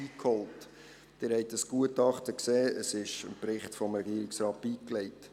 Sie haben das Gutachten gesehen, es ist dem Bericht des Regierungsrates beigelegt.